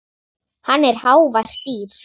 Hann er hávært dýr.